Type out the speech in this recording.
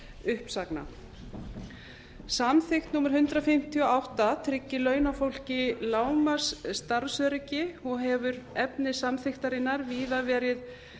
uppsagna samþykkt númer hundrað fimmtíu og átta tryggir launafólki lágmarksstarfsöryggi og hefur efni samþykktarinnar víða verið